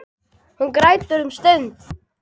Hún grætur um stund.